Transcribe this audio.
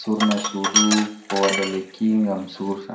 surna sudu ko wada lekki gam surta.